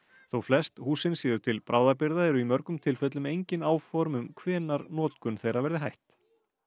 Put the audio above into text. þó flest húsin séu til bráðabirgða eru í mörgum tilfellum engin áform um hvenær notkun þeirra verði hætt